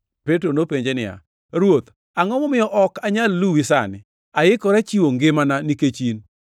Petro nopenje niya, “Ruoth, angʼo momiyo ok anyal luwi sani? Aikora chiwo ngimana nikech in.”